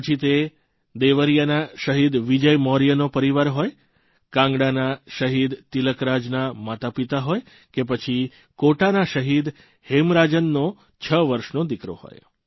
પછી તે દેવરીયાના શહીદ વિજય મૌર્યનો પરિવાર હોય કાંગડાના શહીદ તિલકરાજના માતાપિતા હોય કે પછી કોટાના શહીદ હેમરાજનનો છ વર્ષનો દિકરો હોય